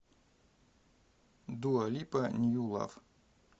дуа липа нью лав